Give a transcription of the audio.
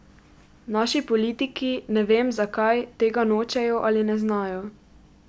Naši politiki, ne vem, zakaj, tega nočejo ali ne znajo.